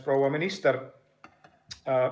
Proua minister!